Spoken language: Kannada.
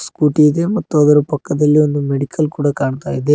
ಸ್ಕೂಟಿ ಇದೆ ಮತ್ತು ಅದರ ಪಕ್ಕದಲ್ಲಿ ಒಂದು ಮೆಡಿಕಲ್ ಕೊಡ ಕಾಣ್ತಾ ಇದೆ.